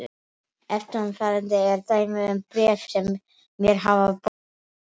Eftirfarandi er dæmi um bréf sem mér hafa borist